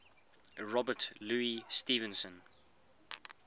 robert louis stevenson